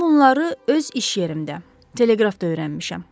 Bütün bunları öz iş yerimdə teleqrafda öyrənmişəm.